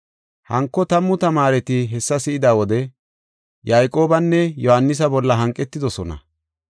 Hanko tammu tamaareti hessa si7ida wode, Yayqoobanne Yohaanisa bolla hanqetidosona.